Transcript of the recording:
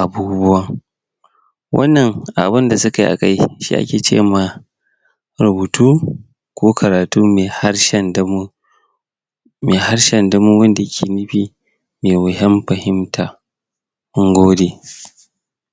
abubuwan wannan abun da sukai a kai shi ake cema rubutu ko karatu me harshen damo me harshen damo wanda yake nufi me wuyan fahimta mun gode